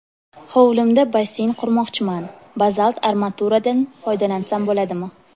Hovlimda basseyn qurmoqchiman, bazalt armaturadan foydalansam bo‘ladimi?